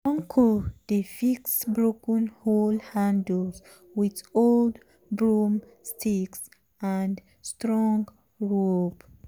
uncle dey fix broken hoe handles with old broomsticks and strong rope.